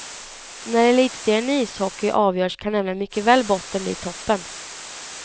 När elitserien i ishockey avgörs kan nämligen mycket väl botten bli toppen.